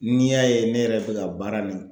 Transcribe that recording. N'i y'a ye ne yɛrɛ bɛ ka baara nin